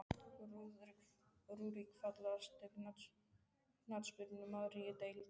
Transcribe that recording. Rúrik Fallegasti knattspyrnumaðurinn í deildinni?